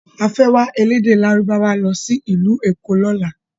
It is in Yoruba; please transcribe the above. A fẹ́ wá elédè lárúbáwá lọ sí ìlú Èkó lọ́la.